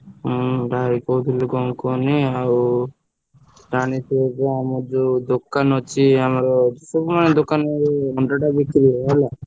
ହଁ ଭାଇ କହୁଥିଲି କଣ କୁହନି ଆଉ ଜାଣିଥିବ ତ ଆମର ଯୋଉ ଦୋ କାନ ଅଛି ଆମର ସବୁ ମାନେ ଦୋକାନ ଏଇ ଅଣ୍ଡାଟା ବିକ୍ରି ହୁଏ ହେଲା।